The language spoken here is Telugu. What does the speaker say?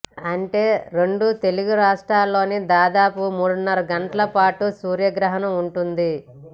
అంటే రెండు తెలుగు రాష్ట్రాల్లోనూ దాదాపు మూడున్నర గంటల పాటు సూర్య గ్రహణం ఉంటుంది